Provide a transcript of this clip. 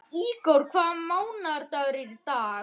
Ígor, hvaða mánaðardagur er í dag?